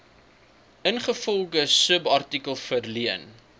ingevolge subartikel verleen